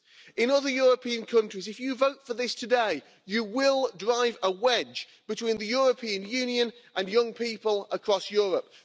In other European countries, if you vote for this today, you will drive a wedge between the European Union and young people across Europe.